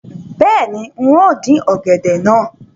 Bẹ́ẹ̀ni, n óò dín ọ̀gẹ̀dẹ̀ náà